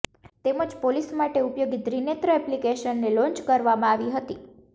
તેમજ પોલીસ માટે ઉપયોગી ત્રીનેત્ર એપ્લિકેશનને લોન્ચ કરવામાં આવી હતી